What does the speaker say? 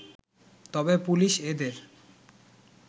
তবে পুলিশ এদের